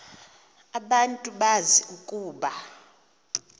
abantu bazi ukuba